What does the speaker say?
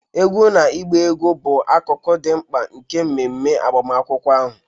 Egwú na ịgba egwú bụ akụkụ dị mkpa nke mmeme agbamakwụkwọ ahụ.